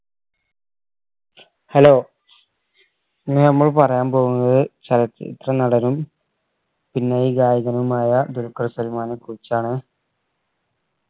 hello ഇന്ന് നമ്മൾ പറയാൻ പോകുന്നത് ചലച്ചിത്ര നടനും പിന്നണി ഗായകനുമായ ദുൽഖർ സൽമാനെ കുറിച്ചാണ്